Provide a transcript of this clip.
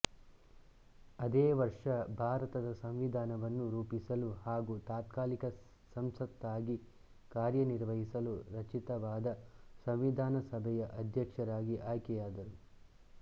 ಅದೇ ವರ್ಷ ಭಾರತದ ಸಂವಿಧಾನವನ್ನು ರೂಪಿಸಲು ಹಾಗೂ ತಾತ್ಕಾಲಿಕ ಸಂಸತ್ತಾಗಿ ಕಾರ್ಯ ನಿರ್ವಹಿಸಲು ರಚಿತವಾದ ಸಂವಿಧಾನ ಸಭೆಯ ಅಧ್ಯಕ್ಷರಾಗಿ ಆಯ್ಕೆಯಾದರು